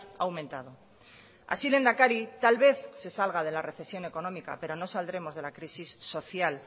ha aumentado así lehendakari tal vez se salga de la recesión económica pero no saldremos de la crisis social